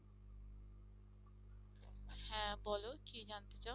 হ্যাঁ বলো কী জানতে চাও?